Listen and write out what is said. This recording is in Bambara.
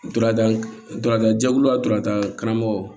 Duranda durandan jɛkulu la dura karamɔgɔ